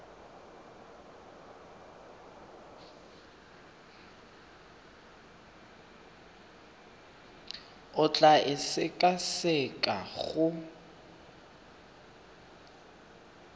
o tla e sekaseka go